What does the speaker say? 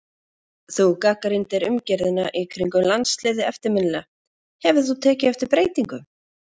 Þú gagnrýndir umgjörðina í kringum landsliðið eftirminnilega, hefur þú tekið eftir breytingum?